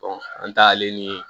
an taalen ni